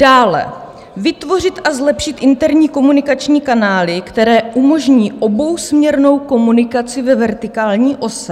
Dále vytvořit a zlepšit interní komunikační kanály, které umožní obousměrnou komunikaci ve vertikální ose.